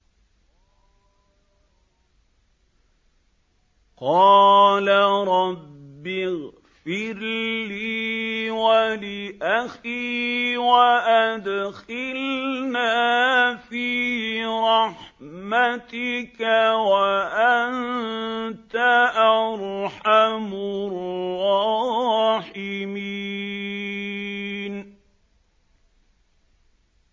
قَالَ رَبِّ اغْفِرْ لِي وَلِأَخِي وَأَدْخِلْنَا فِي رَحْمَتِكَ ۖ وَأَنتَ أَرْحَمُ الرَّاحِمِينَ